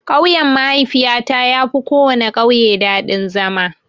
Ƙauyen mahaifiyata yafi kowana ƙauye daɗin zama.